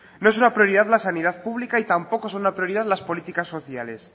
no es una prioridad la sanidad pública y tampoco son la prioridad las políticas sociales